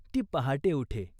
ती पहाटे उठे.